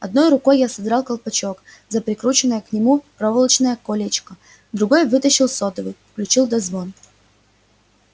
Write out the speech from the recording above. одной рукой я содрал колпачок за прикрученное к нему проволочное колечко другой вытащил сотовый включил дозвон